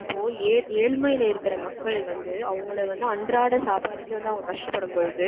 இப்போ ஏழ் ஏழ்மையில இருக்கற மக்கள் வந்து அவங்கள வந்து அன்றாட சாப்பாடுக்கே கஷ்டப்படும்பொழுது